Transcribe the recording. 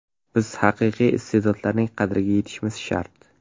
Biz haqiqiy iste’dodlarning qadriga yetishimiz shart.